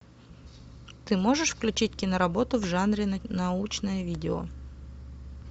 ты можешь включить киноработу в жанре научное видео